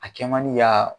A kɛ man di ka